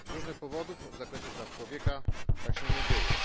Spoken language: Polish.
Z różnych powodów w zakresie praw człowieka tak się nie dzieje.